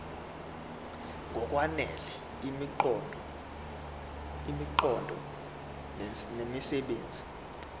ngokwanele imiqondo nemisebenzi